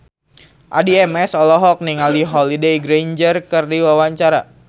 Addie MS olohok ningali Holliday Grainger keur diwawancara